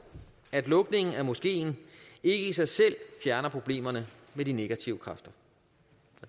at lukningen af moskeen ikke i sig selv fjerner problemerne med de negative kræfter